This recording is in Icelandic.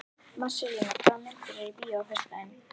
Marselína, hvaða myndir eru í bíó á föstudaginn?